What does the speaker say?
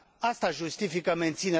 Aceasta justifică menținerea MCV.